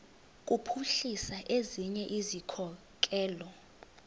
kuphuhlisa ezinye izikhokelo